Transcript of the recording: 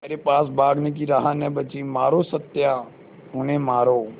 मेरे पास भागने की राह न बची मारो सत्या उन्हें मारो